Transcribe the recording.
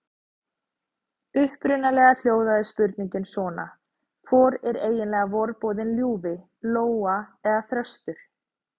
Upprunalega hljóðaði spurningin svona: Hvor er eiginlega vorboðinn ljúfi: Lóa eða þröstur?